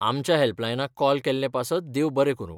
आमच्या हॅल्पलायनाक कॉल केल्लें पासत देव बरें करूं.